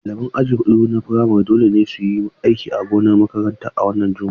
Ɗaliban aji huɗu na firamare dole ne su yi aiki a gonar makaranta a wannan Juma'a.